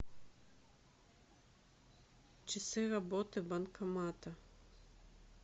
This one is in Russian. часы работы банкомата